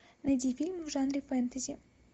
найди фильм в жанре фэнтези